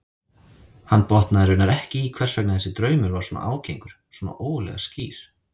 Hann botnaði raunar ekki í hvers vegna þessi draumur var svona ágengur, svona ógurlega skýr.